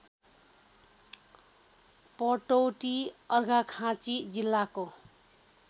पटौटी अर्घाखाँची जिल्लाको